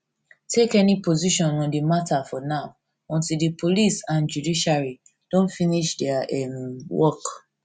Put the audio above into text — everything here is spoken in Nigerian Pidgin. take any position on di matter for now until di police and judiciary don finish dia um work